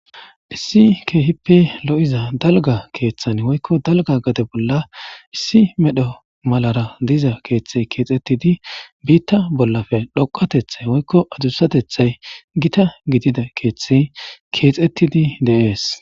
issi keehippe lo7iza dalga keeththan woykko dalga gade bolla issi medho malara diza keeththey keexettidi biitta bollafe dhoqatethay woykko adusatethay gita gidida keeththey keexettidi deees